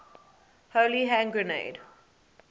holy hand grenade